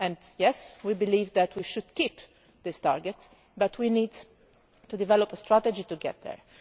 Yes, we do believe that we should keep this target, but we need to develop a strategy to get there.